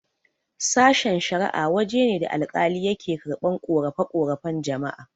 Sashen-shara'a waje ne da alkali yake karɓan ƙorafe-ƙorafen jama'a.